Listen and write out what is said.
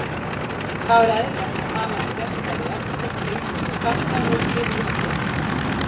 Þá er eðlilegt að tala um sérstæðu jafnvel þótt ströngustu stærðfræðilegu skilyrðum sé ekki fullnægt.